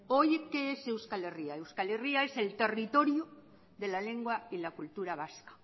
hoy qué es euskal herria euskal herria es el territorio de la lengua y la cultura vasca